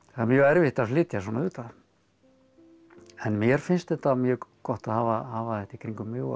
það er mjög erfitt að flytja svona auðvitað en mér finnst þetta mjög gott að hafa hafa þetta í kringum mig og